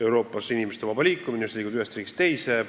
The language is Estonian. Euroopas on lubatud inimeste vaba liikumine, sa võid liikuda ühest riigist teise.